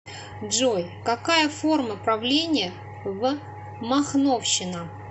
джой какая форма правления в махновщина